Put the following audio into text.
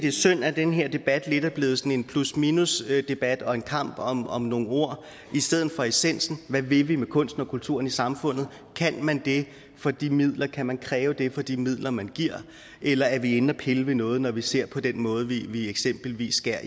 er synd at den her debat lidt er blevet sådan en plus minus debat og en kamp om om nogle ord i stedet for om essensen hvad vil vi med kunsten og kulturen i samfundet og kan man det for de midler altså kan man kræve det for de midler man giver eller er vi inde at pille ved noget når vi ser på den måde vi eksempelvis skærer